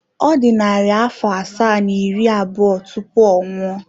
Ọ dị narị afọ asaa na iri abụọ tupu ọ nwụọ.